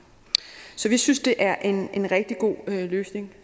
så vi synes det er en rigtig god løsning